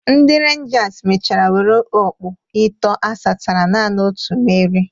Ndị Renjas mechara were ọkpụ itọọ asatara naanị otu merie.